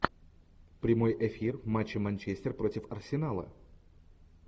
прямой эфир матча манчестер против арсенала